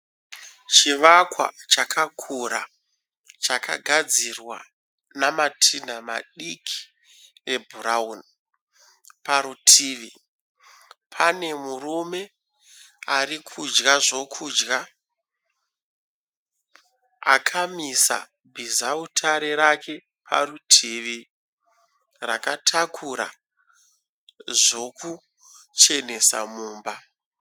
Chivakwa chakakura chakagadzirwa namatinha madiki ebhurauni. Parutivi pane murume arikudya zvokudya. Akamisa bhizautare rake parutivi rakatakura zvokuchenesa mumba.